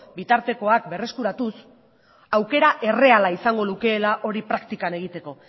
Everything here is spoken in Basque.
bitartekoak berreskuratuz aukera erreala izango lukeela hori praktikan egiteko